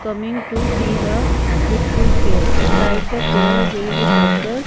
coming to see the beautiful fair inside the fair there is a circle.